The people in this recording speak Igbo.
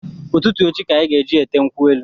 Ụtụtụ echi ka anyị ga-eje ete nkwu elu